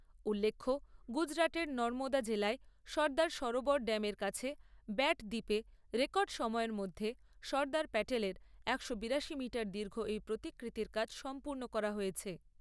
উল্লেখ্য গুজরাটের নর্মদা জেলায় সর্দার সরোবর ড্যামের কাছে ব্যাট দ্বীপে রেকর্ড সময়ের মধ্যে সর্দার প্যাটেলের একশো বিরাশি মিটার দীর্ঘ এই প্রতিকৃতির কাজ সম্পূর্ণ করা হয়েছে।